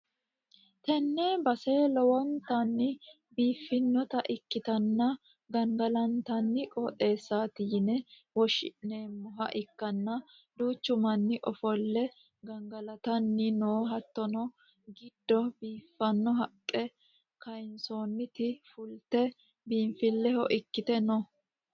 tenne base lowontanni biiffinota ikkitanna, gangalantanni qooxeesaati yine woshhsi'neemmoha ikkanna, duuchu manni ofolle gangalatanni no, hatttono giddo biiffanno haqqe kayinsoonniti fu; lte biinfilleho ikkite no.